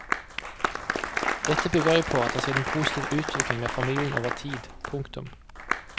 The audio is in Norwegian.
Dette bygger jeg på at det har skjedd en positiv utvikling med familien over tid. punktum